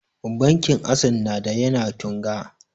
Bankin assess na da ya na Tunga